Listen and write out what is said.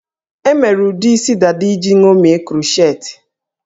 E mere ụdị isi dada iji ṅomie krochetị